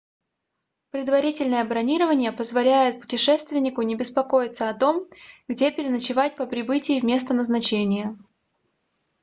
предварительное бронирование позволяет путешественнику не беспокоиться о том где переночевать по прибытии в место назначения